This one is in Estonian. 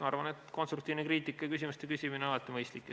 Ma arvan, et konstruktiivne kriitika ja küsimuste küsimine on alati mõistlik.